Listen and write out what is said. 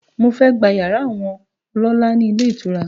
Mo fẹ́ gba yàrá àwọn ọlọ́lá ni ilé ìtura